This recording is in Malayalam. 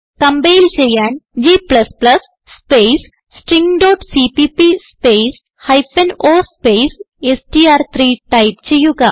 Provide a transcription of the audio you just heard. കംപൈൽ ചെയ്യാൻ g സ്പേസ് stringസിപിപി സ്പേസ് o സ്പേസ് എസ്ടിആർ3 ടൈപ്പ് ചെയ്യുക